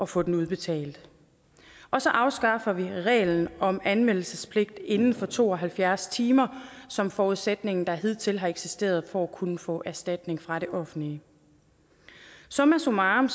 få den udbetalt og så afskaffer vi reglen om anmeldelsespligt inden for to og halvfjerds timer som forudsætningen der hidtil har eksisteret for at kunne få erstatning fra det offentlige summa summarum